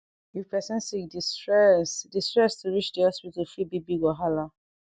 if doctor and patient respect dia sef healing go dey easi